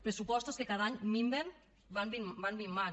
pressupostos que cada any minven van minvant